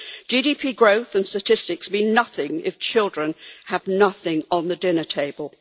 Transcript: GDP growth and statistics mean nothing if children have nothing on the dinner table.